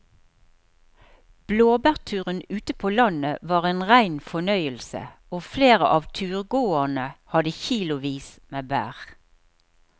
Blåbærturen ute på landet var en rein fornøyelse og flere av turgåerene hadde kilosvis med bær.